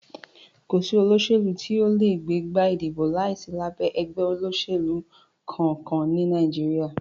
Kò sí olóṣèlú tí o lè gbégbá ìdìbò láìsí lábẹ́ ẹgbẹ́ òṣèlú kankan ní Nàìjíríà.